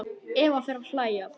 Eva fer að hlæja.